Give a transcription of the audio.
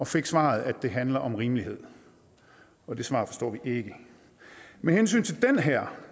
fik svaret at det handler om rimelighed det svar forstår vi ikke med hensyn til den her